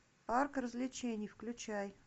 парк развлечений включай